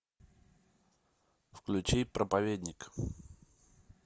включи проповедник